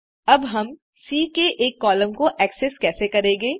अब हम सी के एक कॉलम को एक्सेस कैसे करेंगे